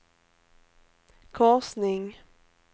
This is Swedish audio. korsning